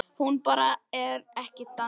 Hún bara er ekki þannig.